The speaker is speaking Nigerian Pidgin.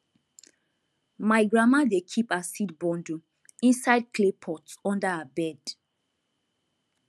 my grandma dey keep her seed bundle inside clay pot under her bed